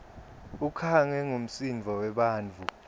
ukhangwe ngumsindvo webantfu